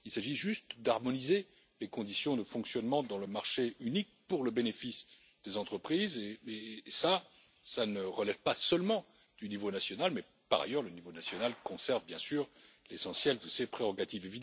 Il s'agit juste d'harmoniser les conditions de fonctionnement dans le marché unique pour le bénéfice des entreprises et cela ne relève pas seulement du niveau national mais par ailleurs, le niveau national conserve bien sûr l'essentiel de ses prérogatives.